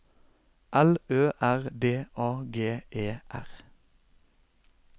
L Ø R D A G E R